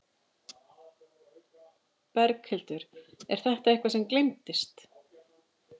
Berghildur: Er þetta eitthvað sem gleymdist?